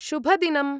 शुभदिनम्!